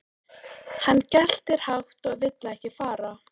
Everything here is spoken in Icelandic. Hann geltir hátt og vill ekki fara.